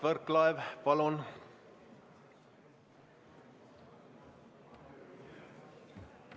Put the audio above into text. Mart Võrklaev, palun!